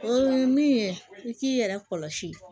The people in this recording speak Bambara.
O ye min ye i k'i yɛrɛ kɔlɔsi